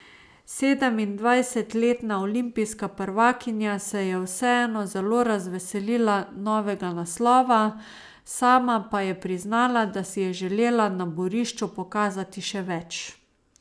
Sedemindvajsetletna olimpijska prvakinja se je vseeno zelo razveselila novega naslova, sama pa je priznala, da si je želela na borišču pokazati še več.